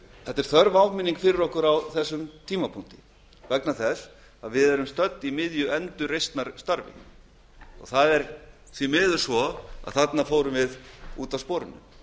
þetta er þörf áminning fyrir okkur á þessum tímapunkti vegna þess að við erum stödd í miðju endurreisnarstarfinu og það er því miður svo að þarna fórum við út af sporinu